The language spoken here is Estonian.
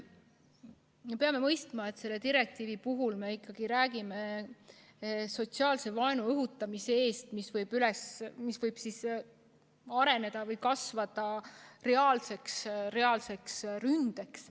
Me peame mõistma, et selle direktiivi puhul me räägime ikkagi sotsiaalse vaenu õhutamisest, mis võib areneda või kasvada reaalseks ründeks.